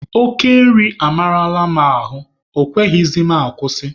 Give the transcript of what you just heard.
Oke nri amarala m ahụ, ọ kweghịzị m akwụsị.